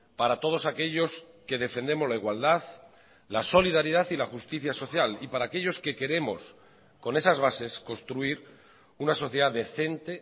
para todos aquellos que defendemos la igualdad la solidaridad y la justicia social y para aquellos que queremos con esas bases construir una sociedad decente